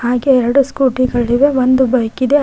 ಹಾಗೆ ಎರಡು ಸ್ಕೂಟಿ ಗಳಿವೆ ಒಂದು ಬೈಕ್ ಇದೆ ಹಾಗೆ--